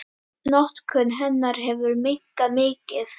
Notkun hennar hefur minnkað mikið.